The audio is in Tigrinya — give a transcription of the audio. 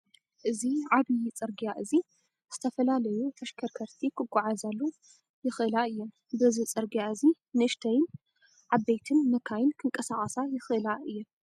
እዚ ዓብይ ፅርግያ እዚ ዝተፈላለዩ ተሽከርከርቲ ክጓዓዛሉ ይእላ እየን ። በዚ ፅርግያ እዚ ንእሽተይን ዓበይትን መካይን ክንቃሳቀሳ ይክእላ እየን ።